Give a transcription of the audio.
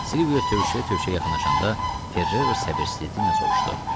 Silvio tövşüyə-tövşüyə yaxınlaşanda Ferrero səbirsizliklə soruşdu.